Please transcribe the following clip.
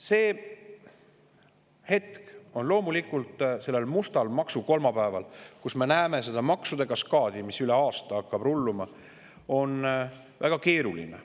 See hetk sellel mustal maksukolmapäeval, kui me näeme maksude kaskaadi, mis hakkab üle aasta rulluma, on loomulikult väga keeruline.